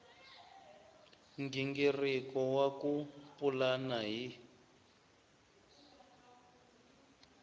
nghingiriko wa ku pulana hi